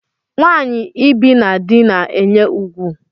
Nwanyi ibi na dị na-enye ùgwù.